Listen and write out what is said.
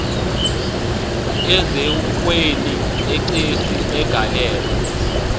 eziukweni exesi agaleleka